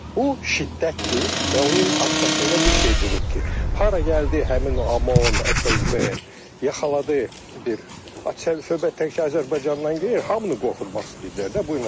Bu şiddətdir və onun arxasında bir şey durub ki, hara gəldi həmin OMON, FSB yaxaladı bir söhbət təkcə Azərbaycandan getmir, hamını qorxutmaq istəyirdilər də.